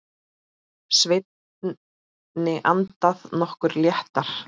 Svenni andað nokkru léttar.